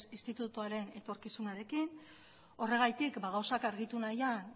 institutoaren etorkizunarekin horregatik gauzak argitu nahian